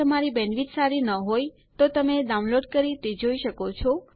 જો તમારી બેન્ડવિડ્થ સારી ન હોય તો તમે ડાઉનલોડ કરી તે જોઈ શકો છો